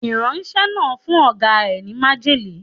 Ìránṣẹ́ náà fún Ọ̀gá ẹ ní májèlé.